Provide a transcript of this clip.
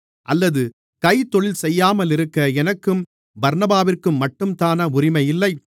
அல்லது கைத்தொழில் செய்யாமலிருக்க எனக்கும் பர்னபாவிற்கும்மட்டும்தானா உரிமை இல்லை